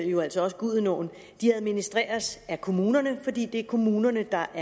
jo altså også gudenåen administreres af kommunerne fordi det er kommunerne der